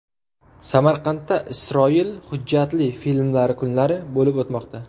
Samarqandda Isroil hujjatli filmlari kunlari bo‘lib o‘tmoqda.